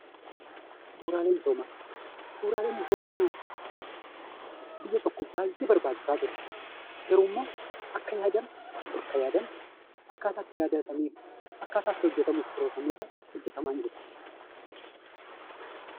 Bu'uraalee misoomaa Bu'uraaleen misoomaa biya tokkoof baay'ee barbaachisaa ture. Garuu immoo akka yaadame, bakka yaadame fi akkaataa itti hojjetamuuf karoorfametti hojjetamaa hin jiru.